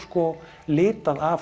litað af